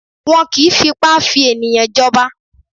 Wọn kì í fipá fi ènìyàn jọba.